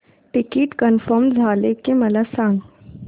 ticket confirm झाले की मला सांग